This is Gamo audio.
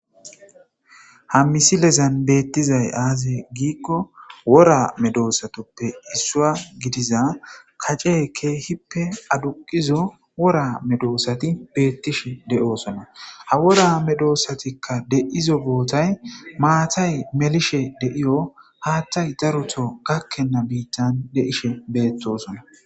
Ha misilezan beettizay aaze giikko wora medoosatoppe issua gidiza kace keehippe aduqizo wora medoosati beettishe de7oosona ha wora medoossatikka de'izo bootay maatay melishe deiyo haattay daruto gakkenna biittan de'ishe beettosona.